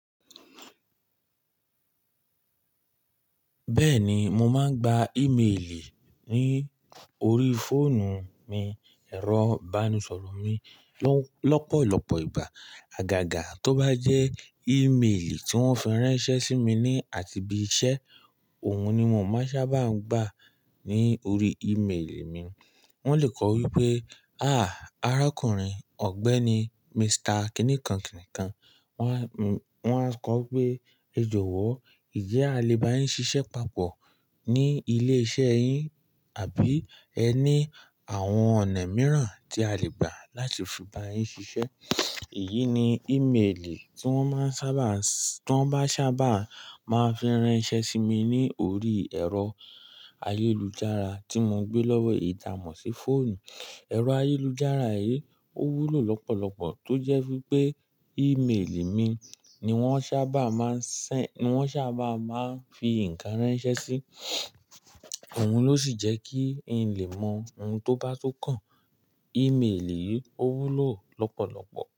Bẹ́ẹ̀ni, mo máa ń gba ímeèlì ní orí fóònù mi, ẹ̀rọ bánisọ̀rọ̀ mi lọ́pọ̀lọpọ̀ ìgbà. Àgàgà tó bá jẹ́ ímeèlì tí wọ́n fi ránṣẹ́ sí mi ní àti bí iṣẹ́, òun ni mo ń máa sábà ń gbà ní orí ímeèlì mi. Wọ́n le kọ̀ wípé, "àáà, arákùnrin ọ̀gbẹ́ni Mister kìnìkán kìnìkán". Wọ́n a kọ̀ wípé, "ẹ jọ̀wọ́, ǹjẹ́ a lè bá yín ṣiṣẹ́ papọ̀ ní ilé iṣẹ́ yín? Àbí ẹ ní àwọn ọ̀nà mìíràn tí a lè gbà láti fi bá yín ṣiṣẹ́?" Èyí ni ímeèlì tí wọ́n bá sábà máa fi ránṣẹ́ sí mi ní orí ẹ̀rọ ayélujára tí mo gbé lọ́wọ́ eyi tamọ̀ sí fóònù. Ẹ̀rọ ayélujára yìí ó wúlò lọ́pọ̀lọpọ̀ tó jẹ́ wípé ímeèlì mi ni wọ́n sábà máa ń fi ǹkan ránṣẹ́ sí. Òun ló sì jẹ́ kí n lè mọ ohun tó bá tún kàn. Ímeèlì yìí ó wúlò lọ́pọ̀lọpọ̀.